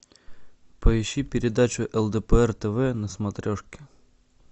поищи передачу лдпр тв на смотрешке